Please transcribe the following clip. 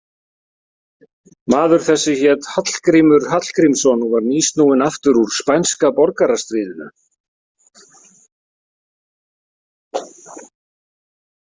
Maður þessi hét Hallgrímur Hallgrímsson og var nýsnúinn aftur úr spænska borgarastríðinu.